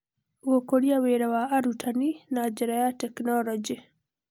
Gũkũria wĩra wa arutani na njĩra ya tekinoronjĩ.